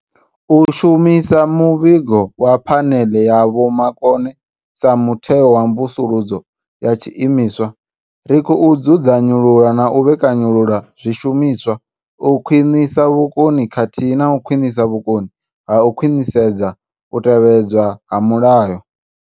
U shumisa muvhigo wa Phaneḽe ya Vhomakone sa mutheo wa mvusuludzo ya tshiimiswa, ri khou dzudzanyulula na u vhe kanyulula zwishumiswa, u khwiṋisa vhukoni khathihi na u khwaṱhisa vhukoni ha u khwaṱhisedza u tevhedzwa ha mulayo.